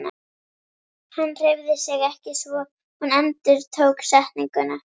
Hann hreyfði sig ekki svo hún endurtók setninguna.